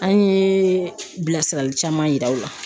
An ye bilasirali caman yira o la.